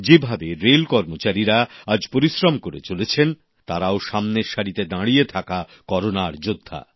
যেভাবে রেল কর্মচারীরা আজ পরিশ্রম করে চলেছেন তারাও সামনের সারিতে দাঁড়িয়ে থাকা করোনার যোদ্ধা